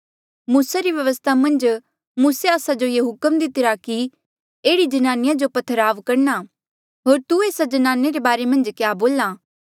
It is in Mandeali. मूसा री व्यवस्था मन्झ मूसे आस्सा जो ये हुक्म दितिरा कि एह्ड़ी ज्नानिया जो पथराव करणा होर तू एस्सा ज्नाने रे बारे मन्झ क्या बोल्हा